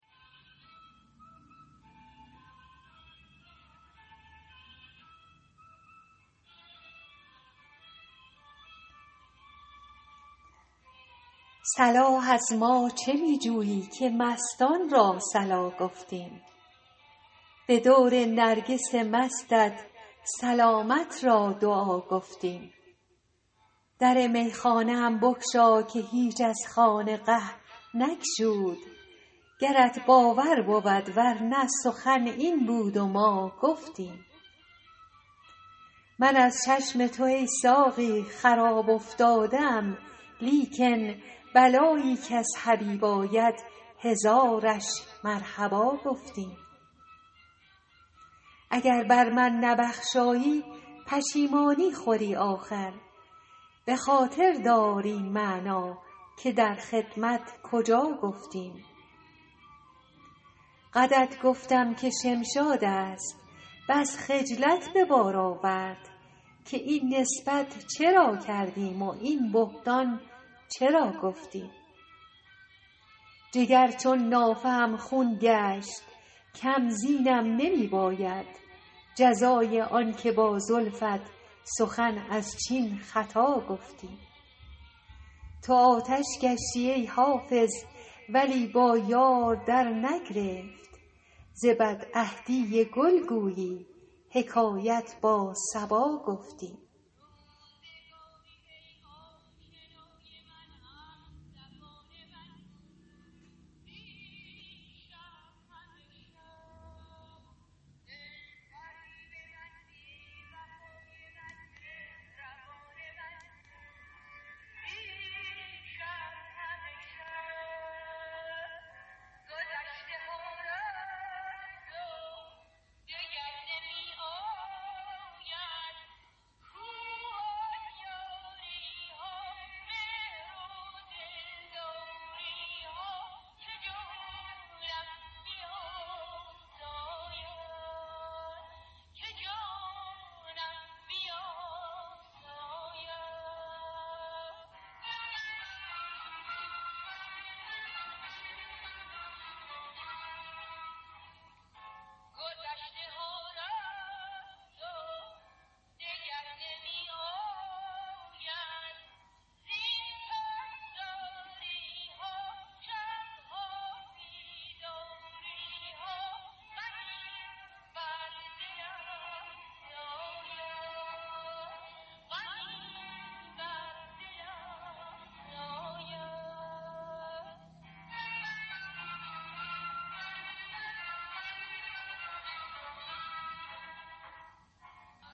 صلاح از ما چه می جویی که مستان را صلا گفتیم به دور نرگس مستت سلامت را دعا گفتیم در میخانه ام بگشا که هیچ از خانقه نگشود گرت باور بود ور نه سخن این بود و ما گفتیم من از چشم تو ای ساقی خراب افتاده ام لیکن بلایی کز حبیب آید هزارش مرحبا گفتیم اگر بر من نبخشایی پشیمانی خوری آخر به خاطر دار این معنی که در خدمت کجا گفتیم قدت گفتم که شمشاد است بس خجلت به بار آورد که این نسبت چرا کردیم و این بهتان چرا گفتیم جگر چون نافه ام خون گشت کم زینم نمی باید جزای آن که با زلفت سخن از چین خطا گفتیم تو آتش گشتی ای حافظ ولی با یار درنگرفت ز بدعهدی گل گویی حکایت با صبا گفتیم